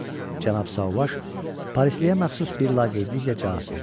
Cənab Sauvage Parisliyə məxsus bir laqeydliklə cavab verdi.